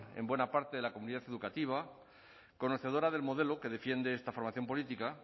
en buena parte de la comunidad educativa conocedora del modelo que defiende esta formación política